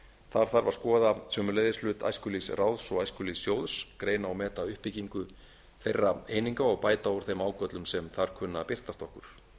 þar þarf að skoða sömuleiðis hlut æskulýðsráðs og æskulýðssjóðs greina og meta uppbyggingu þeirra eininga og bæta úr þeim ágöllum sem þar kunna að birtast okkur